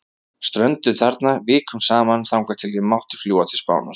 Strönduð þarna, vikum saman, þangað til ég mátti fljúga til Spánar.